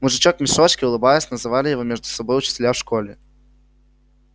мужичок в мешочке улыбаясь называли его между собой учителя в школе